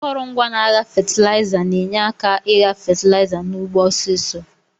Akọrọngwa n'agha fatilaiza na enye aka igha fatilaiza n'ugbo ọsisọ.